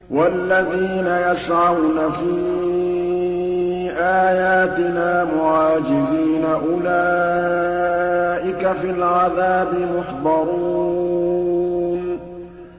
وَالَّذِينَ يَسْعَوْنَ فِي آيَاتِنَا مُعَاجِزِينَ أُولَٰئِكَ فِي الْعَذَابِ مُحْضَرُونَ